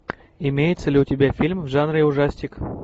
имеется ли у тебя фильм в жанре ужастик